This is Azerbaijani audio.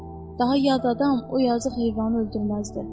Daha yad adam o yazıq heyvanı öldürməzdi.